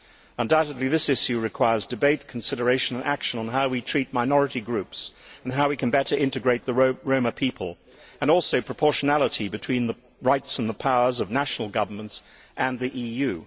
Undoubtedly, this issue requires debate, consideration and action on how we treat minority groups, how we can better integrate the Roma people, and proportionality between the rights and the powers of national governments and the EU.